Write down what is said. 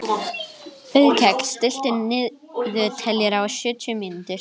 Auðkell, stilltu niðurteljara á sjötíu mínútur.